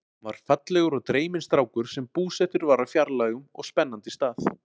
Hann var fallegur og dreyminn strákur sem búsettur var á fjarlægum og spennandi stað.